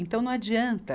Então, não adianta